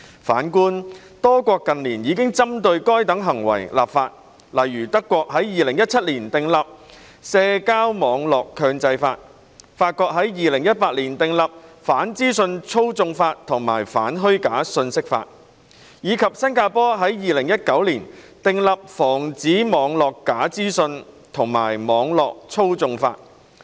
反觀多國近年已針對該等行為立法，例如德國於2017年訂立《社交網絡強制法》、法國於2018年訂立《反資訊操縱法》及《反虛假信息法》，以及新加坡於2019年訂立《防止網路假資訊和網路操縱法》。